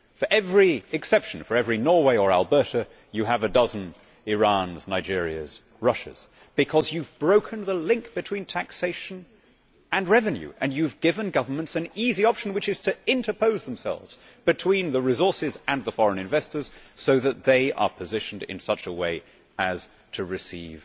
For every exception for every Norway or Alberta you have a dozen Irans, Nigerias and Russias, because you have broken the link between taxation and revenue and you have given governments an easy option which is to interpose themselves between the resources and the foreign investors so that they are positioned in such a way as to receive